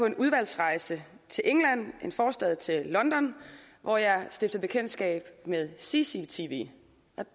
en udvalgsrejse til england en forstad til london hvor jeg stiftede bekendtskab med cctv